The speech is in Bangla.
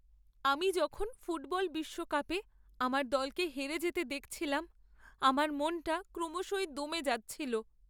আমি যখন ফুটবল বিশ্বকাপে আমার দলকে হেরে যেতে দেখছিলাম আমার মনটা ক্রমশই দমে যাচ্ছিল।